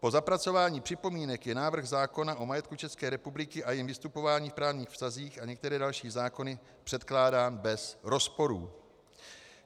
Po zapracování připomínek je návrh zákona o majetku České republiky a jejím vystupování v právních vztazích a některé další zákony předkládán bez rozporů.